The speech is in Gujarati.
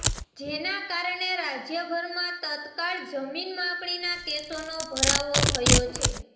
જેના કારણે રાજ્યભરમાં તત્કાળ જમીન માપણીના કેસોનો ભરાવો થયો છે